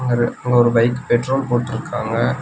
அது அங்க ஒரு பைக் பெட்ரோல் போட்ட்ருக்காங்க.